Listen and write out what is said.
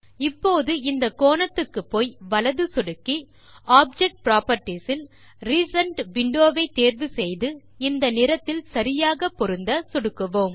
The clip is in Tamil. இப்போது இந்த கோணத்துக்குப்போய் வலது சொடுக்கி ஆப்ஜெக்ட் புராப்பர்ட்டீஸ் இல் ரிசென்ட் விண்டோ வை தேர்வு செய்து இந்த நிறத்தில் சரியாக பொருந்த சொடுக்குவோம்